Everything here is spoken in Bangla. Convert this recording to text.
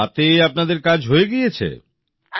আর তাতে আপনাদের কাজ হয়ে গিয়েছে